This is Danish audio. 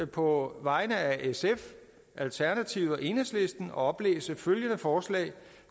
på vegne af sf alternativet og enhedslisten oplæse følgende forslag